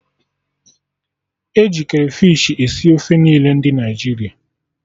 Eji krafish esi ofe niile ndị Naịjirịa